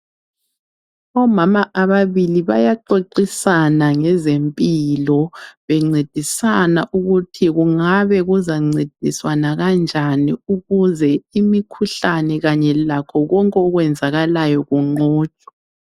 Omama ababili bayaxoxisana ngezempilo bencedisana ukuthi kungabe kuzancediswana kanjani ukuze imikhuhlane kanye lakho konke okwenzakalayo kunqotshwe.